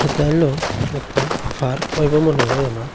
এতা হইলো একতা ফার্ক হবে মনে হয় আমার।